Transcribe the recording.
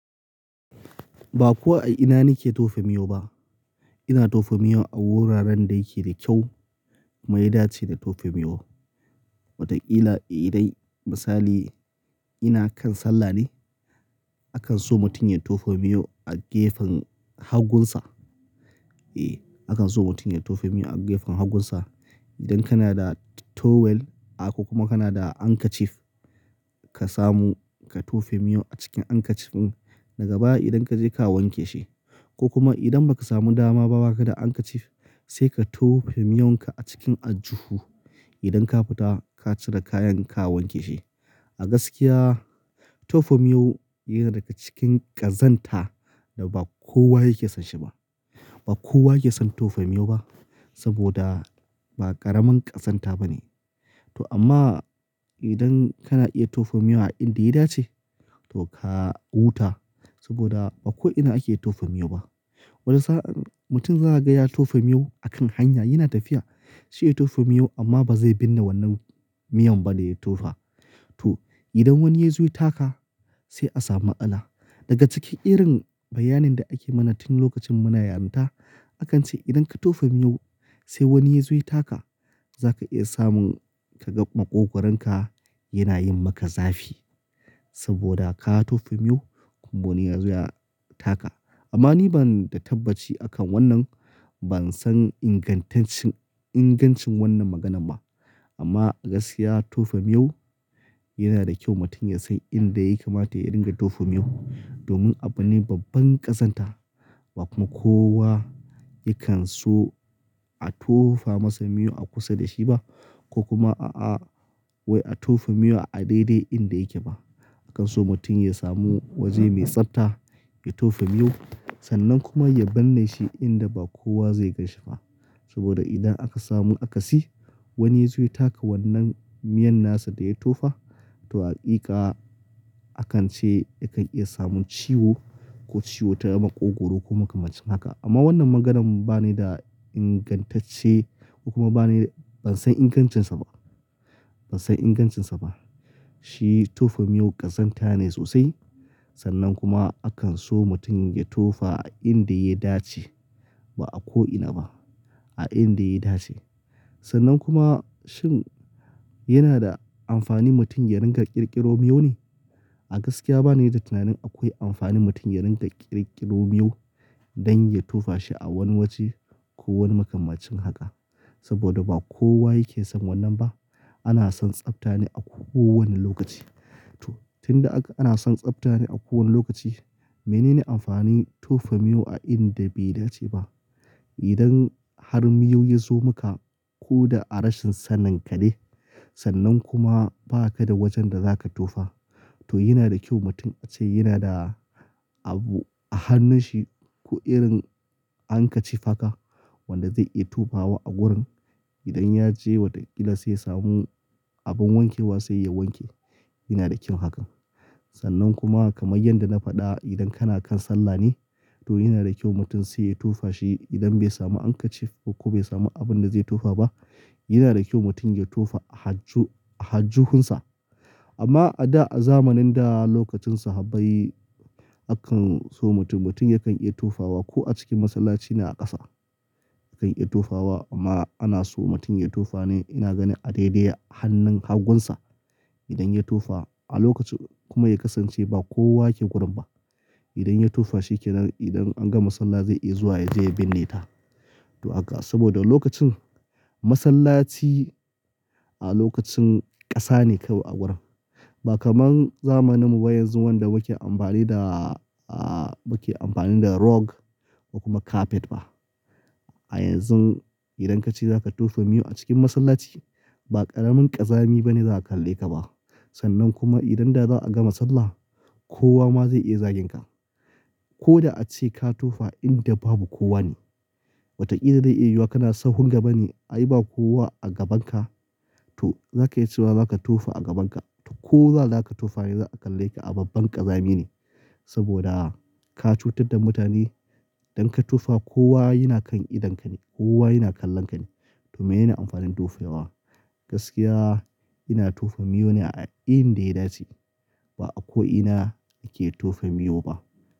Ba ko a ina nike tofa miyo ba. Ina tofa miyo a wuraren da yake da kyau mai dace da tofa miyo. Watakila idai misali ina kan sallah ne akan so mutum ya tofa miyo a gefen hagunsa. E, akan so mutum ya tofa miyo a gefen hagunsa. Idan kana da towel ko kuma kana da handkerchief ka samu ka tofa miyo a cikin handkerchief daga baya idan kaje ka wanke shi. Ko kuma idan ba ka samu dama ba wa ka da handkerchief sai ka tofa miyonka a cikin aljuhu. Idan ka fita ka cire kayan ka wanke shi. A gaskiya tofa miyo yana daga cikin ƙazanta da ba kowa yake son shi ba. Ba kowa yake son tofa miyo ba saboda ba ƙaramin ƙazanta ba ne. To amma idan kana iya tofa miyo a inda ya dace to ka huta saboda ba ko'ina ake tofa miyo ba. Wani sa'an mutum za a gan ya tofa miyo a kan hanya yana tafiya shi ya tofa miyo amma ba zai binne wannan miyan ba da ya tofa. To idan wani ya zo ya taka sai a samu matsala. Daga cikin irin bayanin da ake mana tun lokacin muna yaranta akan ce idan ka tofa miyo sai wani ya zo ya taka zaka iya samun ka ga maƙogwaronka yana yin maka zafi saboda ka tofa miyo kuma wani ya zo ya taka. Amma ni bana da tabbaci a kan wannan. Ban san ingantaccin ingancin wannan maganan ba. Amma a gaskiya tofa miyo yana da kyau mutum ya san inda yakamata ya dinga tofa miyo domin abu ne babban ƙazanta ba kuma kowa yakan so a tofa masa miyo a kusa da shi ba ko kuma a waye a tofa miyo a daidai inda yake ba. Akan so mutum ya samu waje mai tsafta ya tofa miyo sannan kuma ya binne shi inda ba kowa zai gan shi ba. Saboda idan aka samu aka si wani ya zo ya taka wannan miyan nasa da ya tofa to haƙiƙa akan ce yakan iya samun ciwo ko ciwo ta maƙogwaro ko makamancin haka. Amma wannan maganan ba ne da ingantacce ko kuma ba ne ban san ingancinsa ba. Ban san ingancinsa ba. Shi tofa miyo ƙazanta ne sosai sannan kuma akan so mutum ya tofa a inda ya dace ba a ko'ina ba a inda ya dace. Sannan kuwa shin yanada amfani ne mutum ya dinga kirkiro miyau ne. A gaskiya banida tunanin akwai amfanin mutum ya dinga kirkiro miyo don ya tofa shi a wani waje ko makamancin haka saboda ba kowa yakeson wannan ba ana son tsafta ne a ko wani lokaci Toh tunda ana son tsaftane a ko wani lokacikan menene amfanin tofa miyo a inda bai dache ba, idan har miyo yazo maka koda a rashin saninka ne sannan kuma bakada wajen da zaka tofa to yanada a che mutum yanada abu a hannunshi koh irin handkerchief haka wannda zai iya tofawa a gurin idan yaje watakila sai ya samu abun wankewa sai ya wanke yanada kyau hakan, sannan kuma kamar yadda na fada idan kana kan sallah ne mutum sai ya tofashi idan bai samu handkerchief ko kuma bai samu abunda zai tofa ba yanada kyau mutum ya tofa a alju a ljuhunsa amma a da a zamanin da lookacin sahabbai akan so mutum mutum yakan iya tofawa koh a cikin masallacin a kasa, ya kan iya tofawa amma ana son mutum ya tofane ina ganin a daidai hanun hagunsa idan ya tofa kuma ya kasanch a lokacin ba kowa yake gurinnba idan ya tofa shikenan idan an gama sallah zai iya zuwa yaje ya binne ta sahoda lokacin masallaci a lokacin kasan kawai ba kaman zamanin mu ba yanzu wannda muke amfanida rocks to carpet ba A yanzu idankache zaka tofa miyo a cikin masallaci ba karamin kazzami bane za a kalleka bah sannan kuma idan da zaa gama sallah kowa zai iya zaginka. Koda ache ka tofa inda banu kowa ne watakila zai iya yiwuwa sahun gabane ai ba kowa a gabanka to zaka iya chewa zaka tofa a gabanka to koda zaka tofa dai zaa kalleka a babban kazamine saboda ka cutar da mutane idan ka tofa kowa yana idonka ne kowa yana kallonka ne to me nene amfanin tofawa gaskiya ina tofa miyo ne a inda ya dache ba a ko ina nake tofa miyo ba.